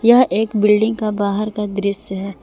यह एक बिल्डिंग का बाहर का दृस्य है ।